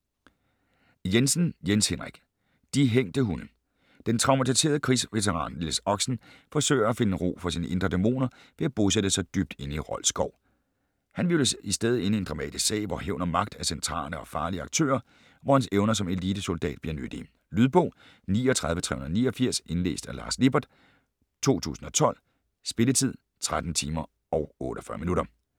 Jensen, Jens Henrik: De hængte hunde Den traumatiserede krigsveteran Niels Oxen forsøger at finde ro for sine indre dæmoner ved at bosætte sig dybt inde i Rold Skov. Han hvirvles i stedet ind i en dramatisk sag hvor hævn og magt er centrale og farlige aktører, og hvor hans evner som elitesoldat bliver nyttige. Lydbog 39389 Indlæst af Lars Lippert, 2012. Spilletid: 13 timer, 48 minutter.